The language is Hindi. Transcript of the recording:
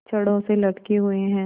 छड़ों से लटके हुए हैं